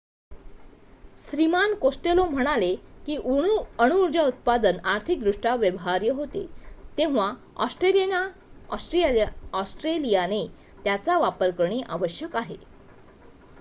श्रीमान Costello म्हणाले की अणुऊर्जा उत्पादन आर्थिकदृष्ट्या व्यवहार्य होते तेव्हा ऑस्ट्रेलियाने त्याचा वापर करणे आवश्यक आहे